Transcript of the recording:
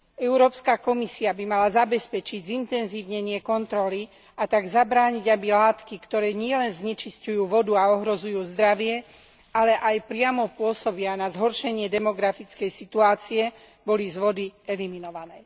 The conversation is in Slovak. Európska komisia by mala zabezpečiť zintenzívnenie kontroly, a tak zabrániť, aby látky, ktoré nielen znečisťujú vodu a ohrozujú zdravie, ale aj priamo pôsobia na zhoršenie demografickej situácie, boli z vody eliminované.